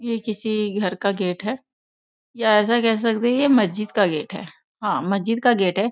ये किसी घर का गेट है या ऐसा कह सकते है ये मस्जिद का गेट है हां मस्जिद का गेट है।